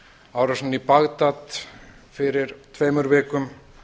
árásinni í bagdad fyrir tveimur vikum